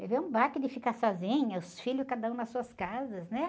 Levei um baque de ficar sozinha, os filhos cada um nas suas casas, né?